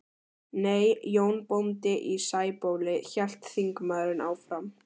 Nei, Jón bóndi í Sæbóli, hélt þingmaðurinn áfram.